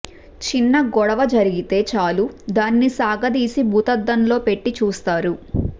చిన్న గొడవ జరిగితే చాలు దాన్ని సాగదీసి భూతద్దంలో పెట్టి చూస్తారు